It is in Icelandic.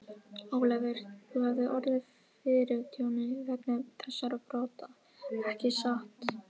Ólafur, þú hefur orðið fyrir tjóni vegna þessara brota, ekki satt?